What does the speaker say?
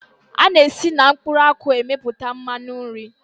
A na-esi na mkpụrụ akwụ emepụta mmanụ nri.